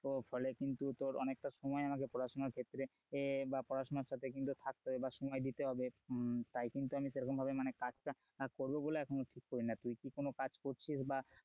ও ফলে কিন্তু তোর অনেকটা সময় আমাকে পড়াশোনার ক্ষেত্রে এ বা পড়াশোনা সাথে কিন্তু থাকতে হবে বা সময় দিতে হবে তাই কিন্তু আমি সেরকম ভাবে মানে কাজটা করব বলে এখন ঠিক করিনি আর তুই কি কোন কাজ করছিস?